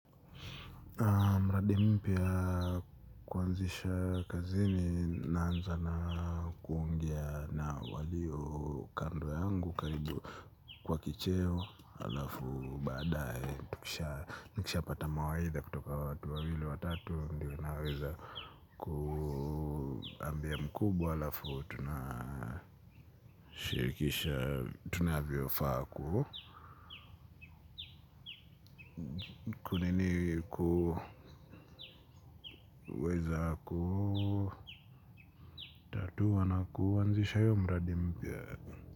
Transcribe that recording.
Mradi mpya kuanzisha kazini naanza na kuongea na walio kando yangu karibu kwa kicheo halafu baadaye nikishapata mawaidha kutoka watu wawili watatu ndiyo naweza kuambia mkubwa halafu tunashirikisha tunavyofaa ku nini kuweza kutatua na kuanzisha hiyo mradi mpya.